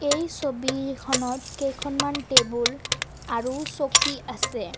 এই ছবিখনত কেইখনমান টেবুল আৰু চকী আছে।